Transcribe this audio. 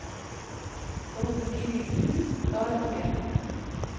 Folk og liv i hus, gard og grend.